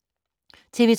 TV 2